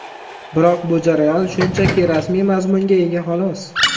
Biroq bu jarayon shunchaki rasmiy mazmunga ega, xolos.